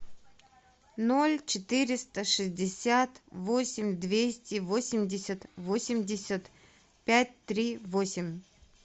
ноль четыреста шестьдесят восемь двести восемьдесят восемьдесят пять три восемь